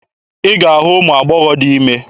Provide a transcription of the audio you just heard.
Ị ga-ahụ ụmụ agbọghọ dị ime.